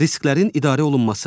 Risklərin idarə olunması.